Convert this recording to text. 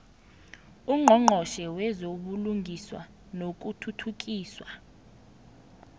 ungqongqotjhe wezobulungiswa nokuthuthukiswa